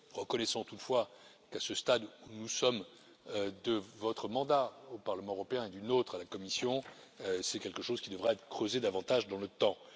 Reconnaissons toutefois qu'à ce stade où nous sommes de votre mandat au Parlement européen et du nôtre à la Commission, c'est quelque chose qui devra être creusé davantage dans le temps.